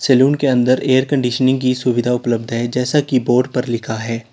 Salon के अंदर air conditioning की सुविधा उपलब्ध है जैसा की बोर्ड पर लिखा है।